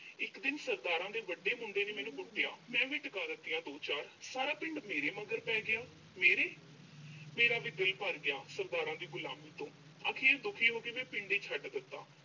ਇੱਕ ਦਿਨ ਸਰਦਾਰਾਂ ਦੇ ਵੱਡੇ ਮੁੰਡੇ ਨੇ ਮੈਨੂੰ ਕੁੱਟਿਆ। ਮੈਂ ਵੀ ਟਿਕਾ ਦਿੱਤੀਆਂ ਦੋ-ਚਾਰ। ਸਾਰਾ ਪਿੰਡ ਮੇਰੇ ਮਗਰ ਪੈ ਗਿਆ। ਮੇਰੇ, ਮੇਰਾ ਵੀ ਦਿਲ ਭਰ ਗਿਆ, ਸਰਦਾਰਾਂ ਦੀ ਗੁਲਾਮੀ ਤੋਂ। ਅਖੀਰ ਦੁਖੀ ਹੋ ਕੇ ਮੈਂ ਪਿੰਡ ਹੀ ਛੱਡ ਦਿੱਤਾ।